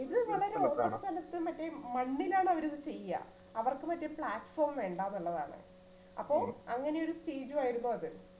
ഇത് വളരെ open സ്ഥലത്തു മറ്റേ മണ്ണിലാണ് അവരിത് ചെയ്യൂഅ അവർക്ക് മറ്റേ platform വേണ്ടന്നുള്ളതാണ് അപ്പൊ അങ്ങനെയൊരു stage ഉം ആയിരുന്നു അത്